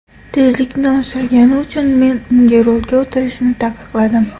Tezlikni oshirgani uchun men unga rulga o‘tirishni taqiqladim.